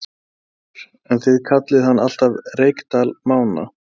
Magnús Hlynur: En þið kallið hann alltaf Reykdal Mána?